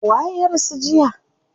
Waye ya rasu jiya?